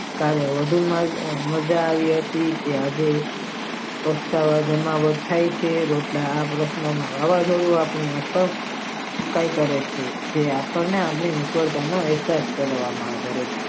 કાલે વધુ મજા આવી હતી કે આજે કેટલા વાગે નું લખાય છે તે રામલખન હોવો જોઈએ આપણી અટક ફુકાય કરે છે જવા આપણે આના વિષે રિચર્જ કરવામાં આવે છે.